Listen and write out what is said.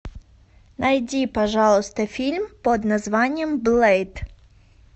найди пожалуйста фильм под названием блэйд